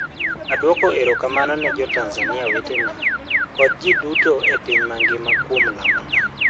Adwoko erokamano ne Jo-Tanzania wetena kod ji duto e piny mangima kuom lamona.